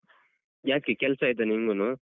ಯಾಕೆ ಕೆಲ್ಸ ಆಯ್ತಾ ನಿಮ್ಗೂನೂ?